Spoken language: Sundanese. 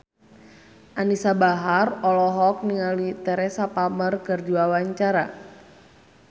Anisa Bahar olohok ningali Teresa Palmer keur diwawancara